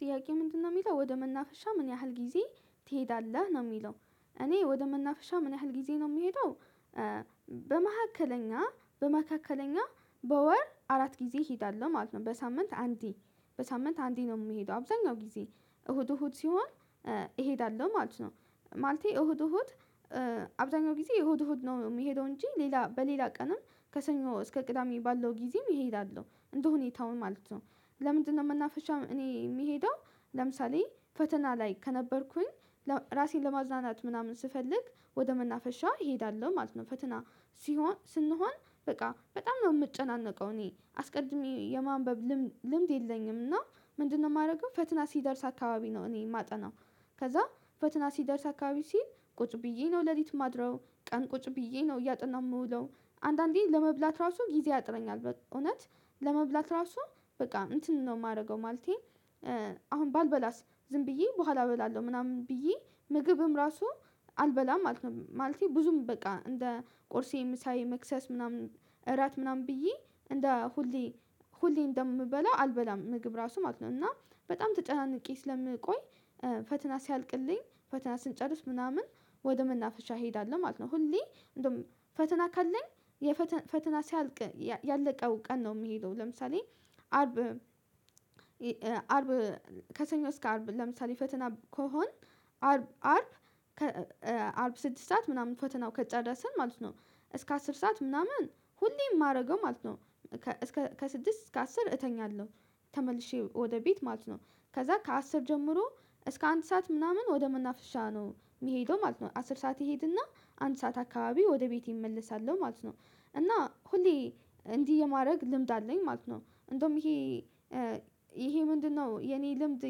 ጥያቄ ምንድነው የሚለው ወደ መናፍሻ ምን ያህል ጊዜ ትሄዳለህ ነው የሚለው? እኔ ወደ መናፈሻ ምን ያህል ጊዜ ነው የምሄደው። በመሀከለኛ በመካከለኛ በወር አራት ጊዜ እሄዳለሁ ማለት ነው። በሳምንት አንዴ በሳምንት አንዴ ነው የምሄደው አብዛኛው ጊዜ እሁድ እሁድ ሲሆን እሄዳለሁ ማለት ነው። ማለቴ እሁድ እሁድ አብዛኛው ጊዜ እሁድ እሁድ ነው እምሄደው እንጂ ሌላ በሌላ ቀንም ከሰኞ እስከ ቅዳሜ ባለው ጊዜም እሄዳለሁ እንደሁኔታው ማለት ነው። ለምንድነው መናፈሻ እኔ የምሄደው? ለምሳሌ ፈተና ላይ ከነበርኩኝ ራሴን ለማዝናናት ምናምን ስፈልግ ወደ መናፈሻ እሄዳለሁ ማለት ነው። ፈተና ሲሆን ስንሆን በቃ በጣም ነው የምጨናነቀው እኔ አስቀድሜ የማንበብ ልምድ የለኝም እና ምንድነው የማደርገው ፈትና ሲደርስ አካባቢ ነው እኔ የማጠናው። ከዛ ፈትና ሲደርስ አካባቢ ሲል ቁጭ ብዬ ነው ሌሊት የማድረው ቀን ቁጭ ብዬ ነው እያጠናው እምዉለው አንዳንዴ ለመብላት ራሱ ጊዜ ያጥረኛል በእውነት ለመብላት ራሱ በቃ እንትን ነው የማደርገው። ማለቴ አሁን ባልበላስ ዝም ብዬ በኋላ እበላለሁ ምናምን ብዬ ምግብም ራሱ አልበላም ማለት ነው። ማለቴ ብዙም በቃ እንደ ቆርሴ ምሳዬ መክሰስ ምናምን እራት ምናምን ብዬ እንደ ሁሌ ሁሌ እንደምበላው አልበላም ምግብ ራሱ ማለት ነው። እና በጣም ተጨናንቄ ስለምቆይ ፈተና ሲያልቅልኝ ፈተና ስንጨርስ ምናምን ወደ መናፍሻ እሄዳለሁ ማለት ነው። ሁሌ እንደውም ፈተና ካለኝ የፈተና ሲያልቅ ያለቀው ቀን ነው የምሄደው። ለምሳሌ አርብ አርብ ከሰኞ እስከ አርብ ለምሳሌ ፈተና ከሆን አርብ አርብ ስድስት ሰዓት ምናምን ፈተናው ከጨረስን ማለት ነው። እስከ አስር ሰዓት ምናምን ሁሌ የማደርገው ማለት ነው እስከ ከስድስት እስከ አስር እተኛለሁ። ተመልሼ ወደ ቤት ማለት ነው ከዛ ከአስር ጀምሮ እስከ አንድ ሰዓት ምናምን ወደ መናፍሻ ነው የምሄደው ማለት ነው። አስር ሰዓት እሄድና አንድ ሰዓት አካባቢ ወደ ቤቴ እመልሳለሁ ማለት ነው። እና ሁሌ እንዲህ የማድረግ ልምድ አለኝ ማለት ነው። እንደውም ይሄ ይሄ ምንድነው የኔ ልምድ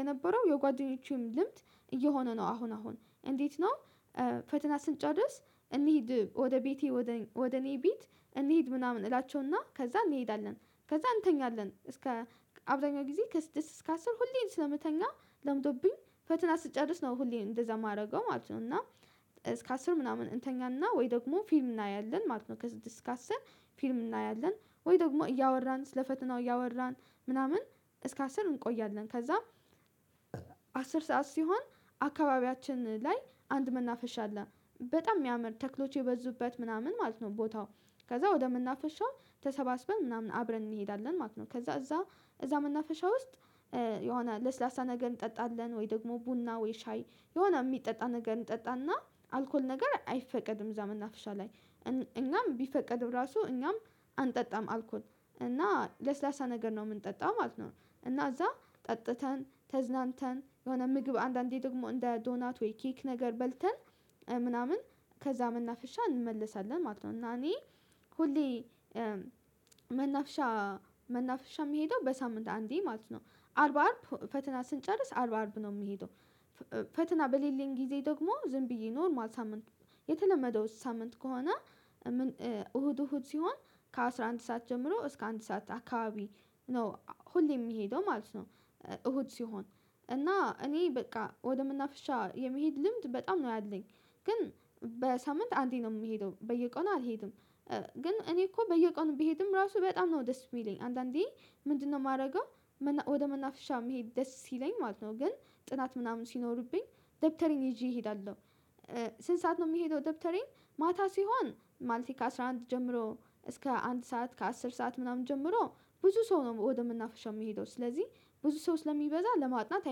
የነበረው የጓደኞቼም ልምድ እየሆነ ነው አሁን አሁን እንዴት ነው? ፈተና ስንጨርስ እንሂድ ወደ ቤቴ ወደ እኔ ቤት እንሂድ ምናምን እላቸውና ከዛ እንሄዳለን ከዛ እንተኛለን እስከ አብዛኛው ጊዜ ከስድስት እስከ አስር ሁሌም ስለምተኛ ለምዶብኝ ፈተና ስትጨርስ ነው ሁሌም እንደዛ የማደርገው ማለት ነው። እና እስከ አስር ምናምን እንተኛና ወይ ደግሞ ፊልም እናያለን ማለት ነው። ከስድስት እስከ አስር ፊልም እናያለን ወይ ደግሞ እያወራን ስለ ፈተናው እያወራን ምናምን እስከ አስር እንቆያለን። ከዛም አስር ሰዓት ሲሆን አካባቢያችን ላይ አንድ መናፈሻ አለ በጣም እሚያምር ተክሎቹ የበዙበት ምናምን ማለት ነው። ቦታው ከዛ ወደምናፈሻው ተሰባስበን ምናምን አብረን እንሄዳለን ማለት ነው። ከዛ እዛ እዛ መናፈሻ ውስጥ የሆነ ለስላሳ ነገር እንጠጣለን ወይ ደግሞ ቡና ወይ ሻይ የሆነ የሚጠጣ ነገር እንጠጣና አልኮል ነገር አይፈቀድም እዛ መናፍሻ ላይ እኛም ቢፈቀድም ራሱ እኛም አንጠጣም አልኮል እና ለስላሳ ነገር ነው የምንጠጣው ማለት ነው። እና እዛ ጠጥተን ተዝናንተን የሆነ ምግብ አንዳንዴ ደግሞ እንደ ዶናት ወይ ኬክ ነገር በልተን ምናምን ከዛ መናፍሻ እንመለሳለን ማለት ነው። እና እኔ ሁሌ መናፍሻ መናፍሻ የምሄደው በሳምንት አንዴ ማለት ነው። አርባ አርብ ፈተና ስንጨርስ አርባ አርብ ነው የምሄደው። ፈተና በሌለኝ ጊዜ ደግሞ ዝም ብዬ ኖርማል ሳምንት የተለመደው ሳምንት ከሆነ እሁድ እሁድ ሲሆን ከአሥራ አንድ ሰዓት ጀምሮ እስከ አንድ ሰዓት አካባቢ ነው ሁሌ የምሄደው ማለት ነው። እሁድ ሲሆን እና እኔ በቃ ወደምናፍሻ የመሄድ ልምድ በጣም ነው ያለኝ። ግን በሳምንት አንዴ ነው የምሄደው በየቆኑ አልሄድም። ግን እኔ እኮ በየቆኑ ቢሄድም ራሱ በጣም ነው ደስ የሚለኝ አንዳንዴ ምንድነው የማደርገው? ወደ መናፍሻ መሄድ ደስ ሲለኝ ማለት ነው። ግን ጥናት ምናምን ሲኖርብኝ ደብተሬን ይዤ እሄዳለሁ። ስንት ሰዓት ነው የምሄደው ደብተሬን ማታ ሲሆን ማለቴ ከአሥራ አንድ ጀምሮ እስከ አንድ ሰዓት ከአስር ሰዓት ምናምን ጀምሮ ብዙ ሰው ነው ወደመናፈሻው የምሄደው ስለዚህ ብዙ ሰው ስለሚበዛ ለማጥናት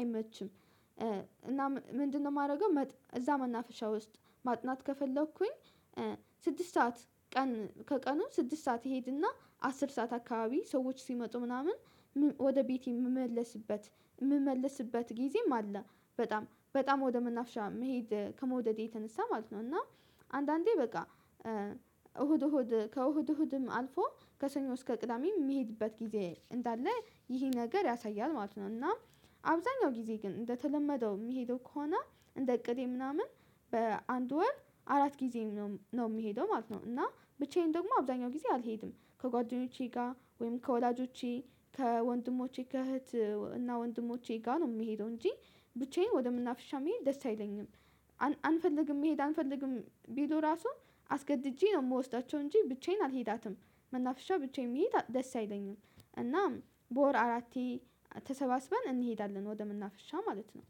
አይመችም። እና ምንድነው የማደርገው እዛ መናፍሻ ውስጥ ማጥናት ከፈለኩኝ ስድስት ሰዓት ቀን ከቀኑ ስድስት ሰዓት እሄድና አስር ሰዓት አካባቢ ሰዎች ሲመጡ ምናምን ወደ ቤቴ የምመለስበት እምመለስበት ጊዜም አለ። በጣም በጣም ወደ መናፍሻ መሄድ ከመውደዴ የተነሳ ማለት ነው። እና አንዳንዴ በቃ እሁድ እሁድ ከእሁድ እሁድም አልፎ ከሰኞ እስከ ቅዳሜ የምሄድበት ጊዜ እንዳለ ይሄ ነገር ያሳያል ማለት ነው። እና አብዛኛው ጊዜ ግን እንደተለመደው የምሄደው ከሆነ እንደ እቅዴ ምናምን በአንድ ወር አራት ጊዜም ነው የምሄደው ማለት ነው። እና ብቻዬን ደግሞ አብዛኛው ጊዜ አልሄድም ከጓደኞቼ ጋር ወይም ከወላጆቼ ከወንድሞቼ ከእህት እና ወንድሞቼ ጋር ነው የምሄደው እንጂ ብቻዬን ወደምናፍሻ መሄድ ደስ አይለኝም። አንፈልግም መሄድ አንፈልግም ቢሉ ራሱ አስገድጄ ነው የምወስዳቸው እንጂ ብቻዬን አልሄዳትም መናፍሻ ብቻዬን መሄድ ደስ አይለኝም። እና በወር አራቴ ተሰባስበን እንሄዳለን ወደምናፍሻ ማለት ነው።